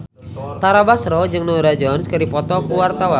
Tara Basro jeung Norah Jones keur dipoto ku wartawan